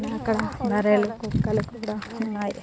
ఇక్కడ నరేల కుక్కలు కూడ ఉన్నాయి.